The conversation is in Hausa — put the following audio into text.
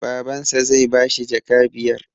Baban sa zai bashi jaka biyar